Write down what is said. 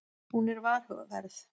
Hún er varhugaverð.